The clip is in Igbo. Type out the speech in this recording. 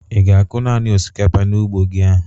Ị ga-akụ nani osikapa n'ugbo gi ahụ?